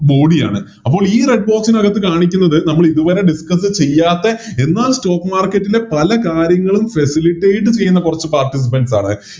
Body ആണ് അപ്പോൾ ഈ Red box നകത്ത് കാണിക്കുന്നത് നമ്മളിതുവരെ Discuss ചെയ്യാത്തെ എന്നാൽ Stock market ലെ പല കാര്യങ്ങളും Facilitate ചെയ്യുന്ന കൊറച്ച് Participants ആണ്